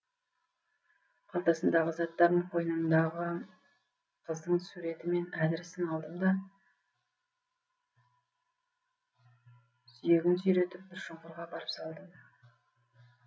қалтасындағы заттарын қойныңдағы қыздың суреті мен әдірісін алдым да сүйегін сүйретіп бір шұңқырға апарып салдым